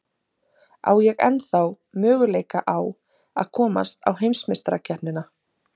Á ég ennþá möguleika á að komast á heimsmeistarakeppnina?